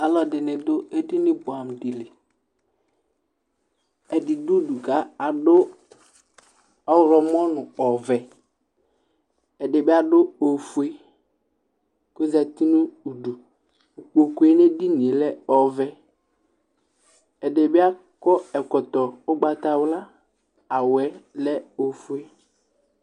Alʋɛdɩnɩ dʋ edini bʋɛamʋ dɩ li : ɛdɩ dʋ udu ka adʋ ɔɣlɔmɔ nʋ ɔvɛ , ɛdɩ bɩ adʋ ofue , k'ozati nʋ udu Ikpokue n'edinie lɛ ɔvɛ ; ɛdɩ bɩ akɔ ɛkɔtɔ ʋgbatawla , awʋɛ lɛ ofue